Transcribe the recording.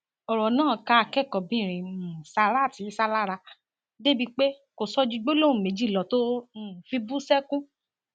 ọrọ náà ká akẹkọọbìnrin um sarat isah lára débìí pé kò sọ ju gbólóhùn méjì lọ tó um fi bú sẹkún